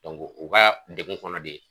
u ka degun kɔnɔ de